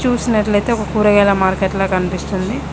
చూసినట్లయితే ఒక కూరగాయల మార్కెట్ లాగా కనిపిస్తుంది.